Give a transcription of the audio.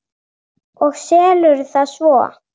Og selurðu það svo?